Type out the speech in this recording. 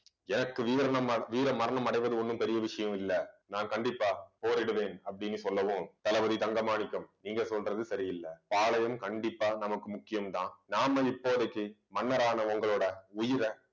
எனக்கு வீரம~வீரமரணம் அடைவது ஒண்ணும் பெரிய விஷயம் இல்லை நான் கண்டிப்பா போரிடுவேன் அப்படின்னு சொல்லவும், தளபதி தங்க மாணிக்கம் நீங்க சொல்றது சரியில்லை பாளையம் கண்டிப்பா நமக்கு முக்கியம் தான் நாம இப்போதைக்கு மன்னரான உங்களோட உயிர